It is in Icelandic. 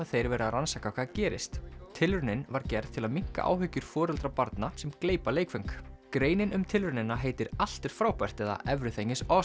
þeir verið að rannsaka hvað gerðist tilraunin var gerð til að minnka áhyggjur foreldra barna sem gleypa leikföng greinin um tilraunina heitir allt er frábært eða everything is